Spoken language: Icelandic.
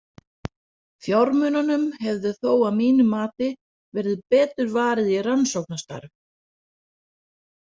Fjármununum hefði þó að mínu mati verið betur varið í rannsóknastarfið.